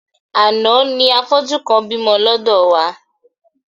Àná ni afọ́jú kan bímọ lọ́dọ̀ wá.